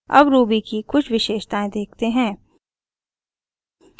अब ruby की कुछ विशेषतायें देखते हैं